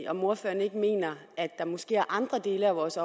om ordføreren ikke mener at der måske er andre dele af vores